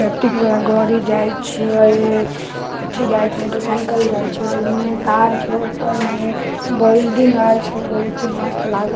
electric वाला गाड़ी जाइ छै अथी जाइ मोटरसाइकिल जाइ छै ओने कार छे ऊपर में बिल्डिंग आर छे बहुत ही मस्त लागै --